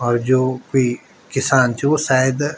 और जो कुई किसान च वो सायद --